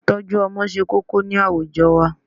Ìtọ́jú Ọmọ se kókó ni àwùjọ wa